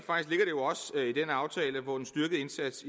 den aftale hvor en styrket indsats